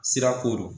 Sira ko don